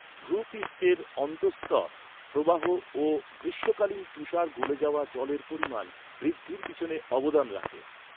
ভূপৃষ্ঠের অন্তর্স্তর প্রবাহ ও গ্রীষ্মকালীন তুষার গলে যাওয়া জলের পরিমাণ বৃদ্ধির পিছনে অবদান রাখে।